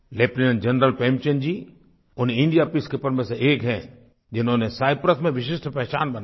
lieutenant general Premchand ji उन India peacekeeper में से एक हैं जिन्होंने साइप्रस में विशिष्ट पहचान बनाई